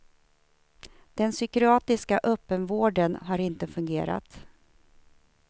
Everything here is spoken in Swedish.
Den psykiatriska öppenvården har inte fungerat.